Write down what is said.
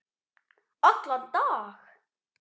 Allan dag?